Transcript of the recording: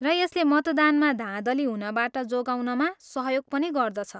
र यसले मतदानमा धाँधली हुनबाट जोगाउनमा सहयोग पनि गर्दछ।